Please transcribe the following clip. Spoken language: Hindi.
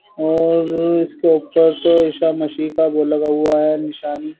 और इसके ऊपर तो इशा मशी का बोला हुआ है निशानी --